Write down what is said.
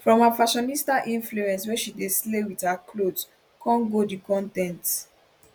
from her fashionista influence wey she dey slay wit her clothes come go di con ten t